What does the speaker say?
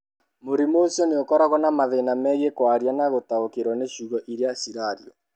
Mũrimũ ũcio ũkoragwo na mathĩna megiĩ kwaria na gũtaũkĩrũo nĩ ciugo iria ciaragio.